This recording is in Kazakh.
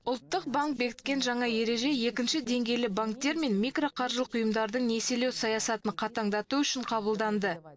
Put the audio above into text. ұлттық банк бекіткен жаңа ереже екінші деңгейлі банктер мен микроқаржылық ұйымдардың несиелеу саясатын қатаңдату үшін қабылданды